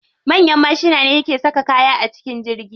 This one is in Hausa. Manyan mashina ne ke saka kaya a cikin jirgi.